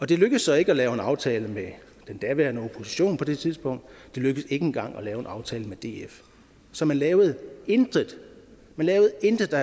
det lykkedes så ikke at lave en aftale med da daværende opposition på det tidspunkt det lykkedes ikke engang at lave en aftale med df så man lavede intet man lavede intet der